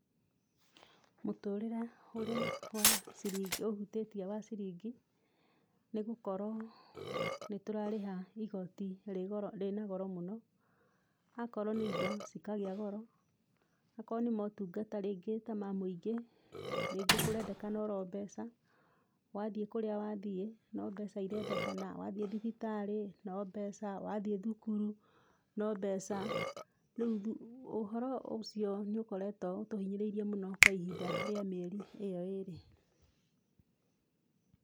Mũtũrĩre ũrĩa wa ciringi ũhutĩtie wa ciringi, nĩ gũkorwo nĩ tũrarĩha igoti rĩ goro rĩna goro mũno. Akorwo nĩ indo, cikagĩa goro, akorwo nĩ motungata, rĩngĩ ta ma mũingĩ, rĩngĩ kũrendekana oro mbeca, wathiĩ kũrĩa wathiĩ no mbeca irendekana, wathiĩ thibitarĩ, no mbeca, wathiĩ thukuru, no mbeca. Rĩu ũhoro ũcio nĩ ũkoretwo ũtũhinyĩrĩirie mũno kwa ihinda rĩa mĩeri ĩyo ĩĩrĩ.